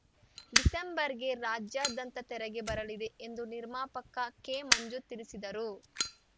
ಡಿಸೆಂಬರ್‌ಗೆ ರಾಜ್ಯಾದಂತ ತೆರೆಗೆ ಬರಲಿದೆ ಎಂದು ನಿರ್ಮಾಪಕ ಕೆಮಂಜು ತಿಳಿಸಿದರು